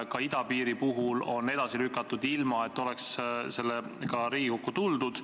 Ka idapiiri puhul on asju edasi lükatud, ilma et oleks Riigikokku tuldud.